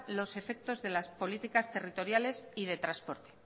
los efectos de las políticas territoriales y de transporte